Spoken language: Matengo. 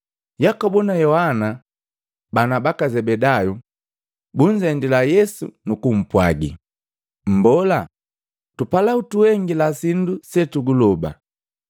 Yakobu na Yohana, bana baka Zebedayu, bunzendila Yesu nukumpwagi, “Mbola, tupala utuhengila sindu setuguloba.”